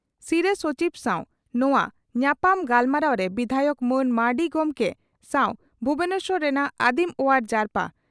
ᱥᱤᱨᱟᱹ ᱥᱚᱪᱤᱵᱽ ᱥᱟᱣ ᱱᱚᱣᱟ ᱧᱟᱯᱟᱢ ᱜᱟᱞᱢᱟᱨᱟᱣᱨᱮ ᱵᱤᱫᱷᱟᱭᱚᱠ ᱢᱟᱱ ᱢᱟᱹᱨᱰᱤ ᱜᱚᱢᱠᱮ ᱥᱟᱣ ᱵᱷᱩᱵᱚᱱᱮᱥᱚᱨ ᱨᱮᱱᱟᱜ ᱟᱹᱫᱤᱢ ᱚᱣᱟᱨ ᱡᱟᱨᱯᱟ